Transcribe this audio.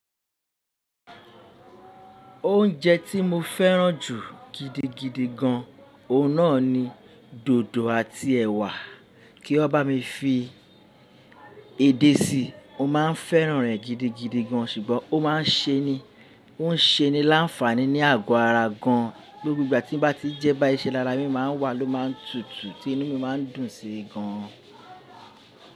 Oúnjẹ tí mo fẹ́ràn jù gidigidi gan, ọ̀nà ni dòdò àti ẹ̀wà. Kí ó bá mi fi èdè síi, o máà ń fẹ́ràn rẹ̀ gidigidi gan, ṣùgbọ́n ó má a n ṣe ni, o n ṣe ni láǹfààní ní àgọ́ ara gan. Gbogbó ìgbà tí mo bá ti jẹ ẹ́ bá iṣẹ́ lara mi má n wà ló má n tutù tí inú mi má n dùn sí i gan.